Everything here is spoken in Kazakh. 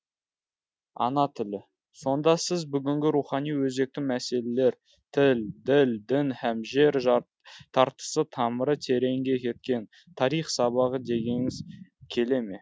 ана тілі сонда сіз бүгінгі рухани өзекті мәселелер тіл діл дін һәм жер тартысы тамыры тереңге кеткен тарих сабағы дегіңіз келе ме